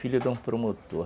Filho de um promotor.